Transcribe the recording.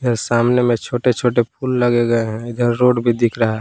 ये सामने में छोटे छोटे फूल लगे गए हैं इधर रोड भी दिख रहा है।